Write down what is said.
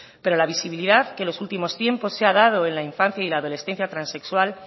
pero la visibilidad que en los últimos tiempos se ha dado en la infancia y la adolescencia transexual